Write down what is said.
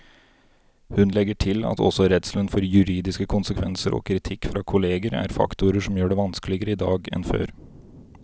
Hun legger til at også redselen for juridiske konsekvenser og kritikk fra kolleger er faktorer som gjør det vanskeligere i dag enn før.